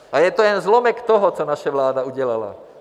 A je to jen zlomek toho, co naše vláda udělala.